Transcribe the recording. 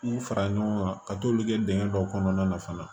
K'u fara ɲɔgɔn kan ka t'olu kɛ dingɛn dɔ kɔnɔna na fana